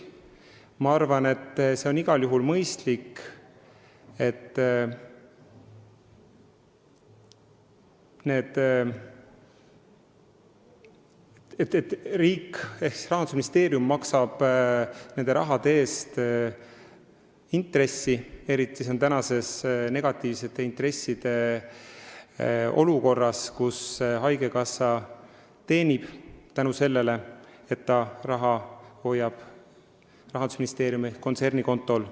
Ma arvan, et on igal juhul mõistlik, et Rahandusministeerium maksab ka selle raha eest intressi, eriti praeguses negatiivsete intresside olukorras, kus haigekassa teenib tänu sellele, et ta hoiab raha Rahandusministeeriumi kontsernikontol.